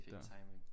Perfekt timing